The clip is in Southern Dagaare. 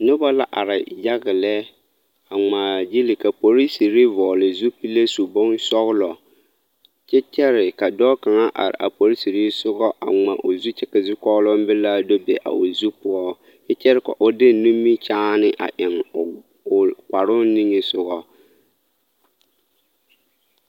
Noba la are yage lɛ a ŋmaa gili ka polisiri vɔgele zupile su bonsɔgelɔ kyɛ kyɛre ka dɔɔ kaŋa are a polisiri sogɔ a ŋma o zu kyɛ ka zukɔɔloŋ belaaŋ do be a o zu poɔ kyɛ kyɛre ka o de nimikyaane a eŋ o kparoo niŋesogɔ